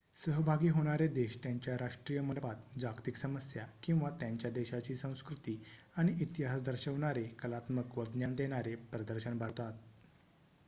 सहभागी होणारे देश त्यांच्या राष्ट्रीय मंडपात जागतिक समस्या किंवा त्यांच्या देशाची संस्कृती आणि इतिहास दर्शवणारे कलात्मक व ज्ञान देणारे प्रदर्शन भरवतात